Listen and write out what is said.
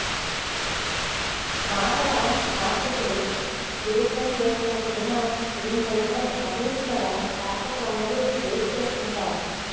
మాటల మాత్రికుడు త్రివిక్రం చేస్తున్న సినిమా గురించైతే అభిరుచి గల ప్రేక్షకులందరు వెయిట్ చేస్తుంటారు